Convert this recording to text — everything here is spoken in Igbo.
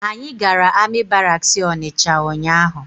Anyị gara amị baraksi Ọnịcha ụnyaahụ.